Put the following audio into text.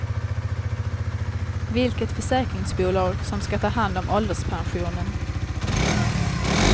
Vilket försäkringsbolag som ska ta hand om ålderspensionen.